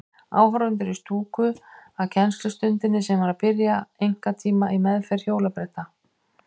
Áhorfendur í stúku að kennslustundinni sem var að byrja, einkatíma í meðferð hjólabretta.